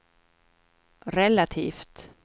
relativt